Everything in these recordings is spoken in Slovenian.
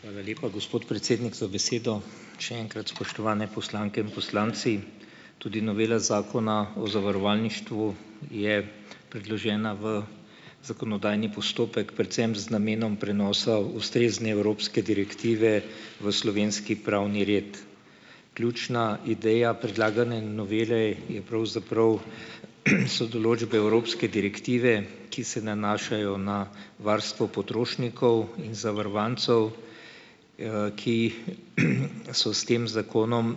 Hvala lepa, gospod predsednik, za besedo. Še enkrat, spoštovane poslanke in poslanci, tudi novela Zakona o zavarovalništvu je predložena v zakonodajni postopek predvsem z namenom prenosa ustrezne evropske direktive v slovenski pravni red. Ključna ideja predlagane novele je pravzaprav so določbe evropske direktive, ki se nanašajo na varstvo potrošnikov in zavarovancev, ki so s tem zakonom,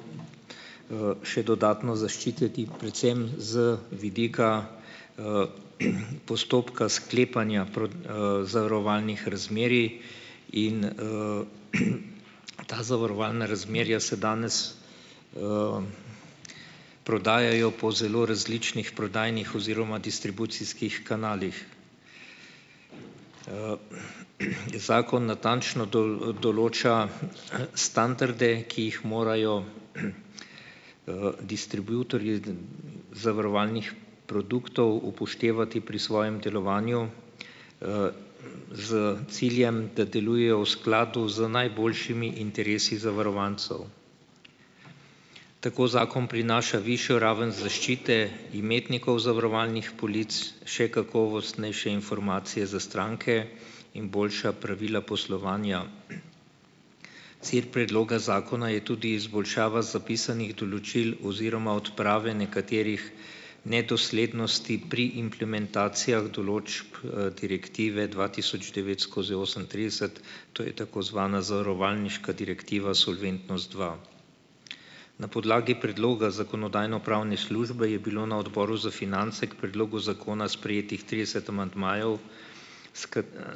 še dodatno zaščiteni predvsem z vidika postopka sklepanja zavarovalnih razmerij in, ta zavarovalna razmerja se danes prodajajo po zelo različnih prodajnih oziroma distribucijskih kanalih. Zakon natančno določa standarde, ki jih morajo distributerji zavarovalnih produktov upoštevati pri svojem delovanju s ciljem, da delujejo v skladu z najboljšimi interesi zavarovancev. Tako zakon prinaša višjo raven zaščite imetnikov zavarovalnih polic, še kakovostnejše informacije za stranke in boljša pravila poslovanja. Cilj predloga zakona je tudi izboljšava zapisanih določil oziroma odprave nekaterih nedoslednosti pri implementacijah določb, direktive dva tisoč devet skozi osemintrideset, to je tako zvana zavarovalniška direktiva Solventnost dva. Na podlagi predloga Zakonodajno-pravne službe je bilo na Odboru za finance k predlogu zakona sprejetih trideset amandmajev, s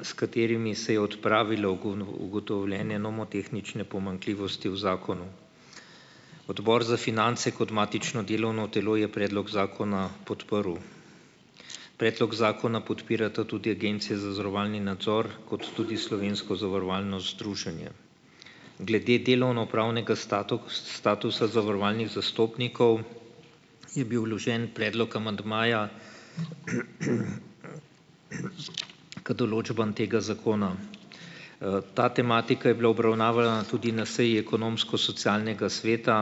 s katerimi se je odpravilo ugotovljene nomotehnične pomanjkljivosti v zakonu. Odbor za finance kot matično delovno telo je predlog zakona podprl. Predlog zakona podpirata tudi Agencija za zavarovalni nadzor kot tudi Slovensko zavarovalno združenje. Glede delovnopravnega statusa zavarovalnih zastopnikov je bil vložen predlog amandmaja k določbam tega zakona. Ta tematika je bila obravnavana tudi na seji Ekonomsko-socialnega sveta,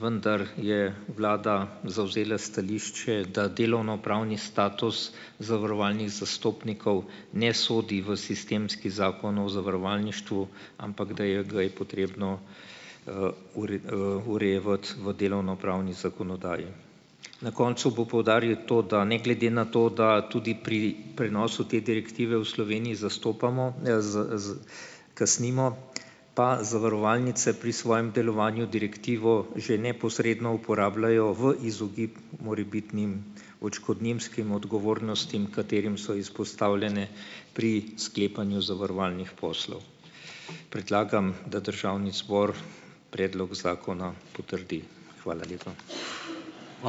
vendar je vlada zavzela stališče, da delovnopravni status zavarovalnih zastopnikov ne sodi v sistemski Zakon o zavarovalništvu, ampak da je ga je potrebno, urejevati v delovnopravni zakonodaji. Na koncu bom poudaril to, da ne glede na to, da tudi pri prenosu te direktive v Sloveniji zastopamo, kasnimo, pa zavarovalnice pri svojem delovanju direktivo že neposredno uporabljajo v izogib morebitnim odškodninskim odgovornostim, katerim so izpostavljene pri sklepanju zavarovalnih poslov. Predlagam, da državni zbor predlog zakona potrdi. Hvala lepa.